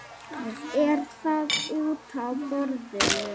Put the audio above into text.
Er það útaf borðinu?